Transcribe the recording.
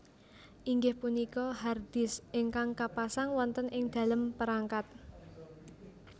Inggih punika hard disk ingkang kapasang wonten ing dalem perangkat